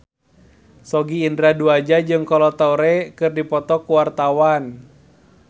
Sogi Indra Duaja jeung Kolo Taure keur dipoto ku wartawan